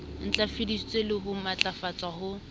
ntlafaditsweng le ho matlafatswa ho